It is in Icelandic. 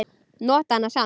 Nota hana samt.